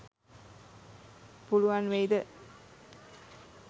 පුලුවන් වෙයිද